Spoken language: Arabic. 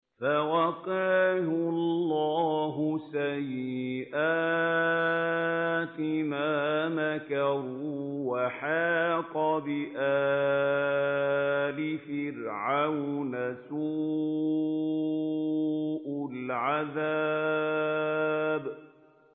فَوَقَاهُ اللَّهُ سَيِّئَاتِ مَا مَكَرُوا ۖ وَحَاقَ بِآلِ فِرْعَوْنَ سُوءُ الْعَذَابِ